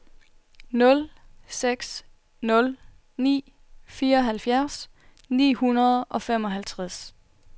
nul seks nul ni fireoghalvfjerds ni hundrede og femoghalvtreds